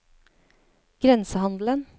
grensehandelen